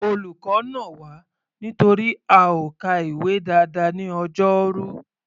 Olùkọ́ nà wá nítorí a ò ka ìwé dáadáa ní Ọjọ́rú.